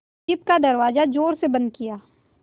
jeep का दरवाज़ा ज़ोर से बंद किया